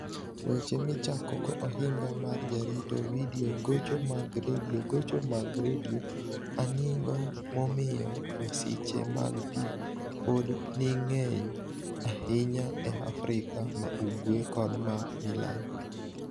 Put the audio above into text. Weche Michakogo Ohiniga mar Jarito Vidio Gocho mag Redio Gocho mag Redio Anig'o momiyo masiche mag pi pod nig'eniy ahiniya e Afrika ma ugwe kod ma milambo?